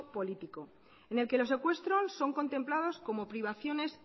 político en el que los secuestros son contemplados como privaciones